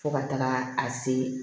Fo ka taga a se